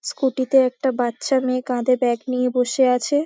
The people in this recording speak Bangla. স্কুটি -তে একটা বাচ্চা মেয়ে কাঁধে ব্যাগ নিয়ে বসে আছে-এ ।